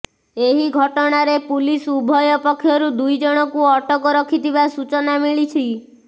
ଏହି ଘଟଣାରେ ପୁଲିସ ଉଭୟ ପକ୍ଷରୁ ଦୁଇଜଣଙ୍କୁ ଅଟକ ରଖିଥିବା ସୂଚନା ମିଳିଛି